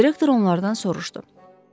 Direktor onlardan soruşdu.